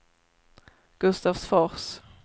Gustavsfors